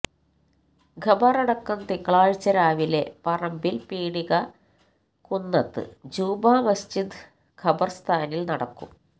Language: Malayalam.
ഖബറടക്കം തിങ്കളാഴ്ച രാവിലെ പറമ്പില് പീടിക കുന്നത്ത് ജുമാമസ്ജിദ് ഖബര്സ്ഥാനില് നടക്കും